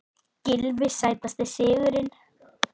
Gylfi Sætasti sigurinn?